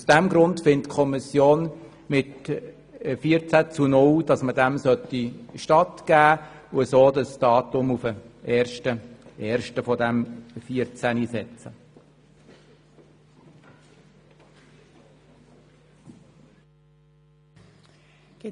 Aus diesem Grund ist die Kommission mit 14 zu 0 Stimmen der Meinung, diesem Antrag sei stattzugeben, indem das Datum auf den 1. 1. 2014 gesetzt wird.